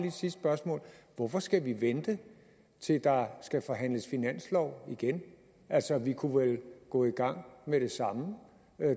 et sidste spørgsmål hvorfor skal vi vente til der skal forhandles finanslov igen altså vi kunne vel gå i gang med det samme